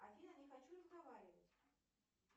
афина не хочу разговаривать